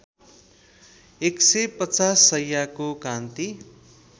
१५० शैय्याको कान्ति